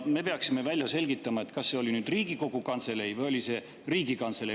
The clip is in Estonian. Me peaksime välja selgitama, kas see oli Riigikogu Kantselei või oli see Riigikantselei.